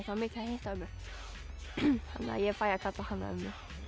ömmu þannig að ég fæ að kalla hana ömmu